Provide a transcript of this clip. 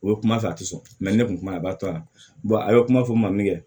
O ye kuma fɔ a tɛ sɔn ne tun kuma na a b'a to a la a bɛ kuma fɔ ma min kɛ